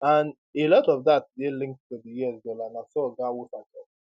and a lot of dat dey linked to di us dollar na so oga weafer tok